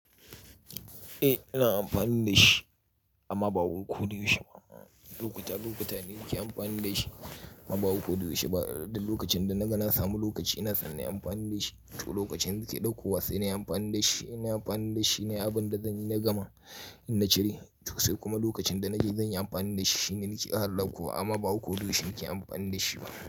Eh ina amfani da shi amma ba koda yaushe ba. Lokuta lokuta ne nake amfani da shi amma ba koda yaushe ba. Duk lokacin da na ga na samu lokaci ina son nayi amfani da shi, to lokacin na ke ɗaukowa sai nayi amfani da shi. Ina amfani da shi ne abin da zanyi na gama in na cire, to sai kuma lokacin da na je zan yi amfani da shi shine nake harhaɓkuwa amma ba koda yaushe nake amfani da shi ba.